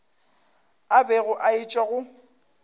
a bego a etšwa go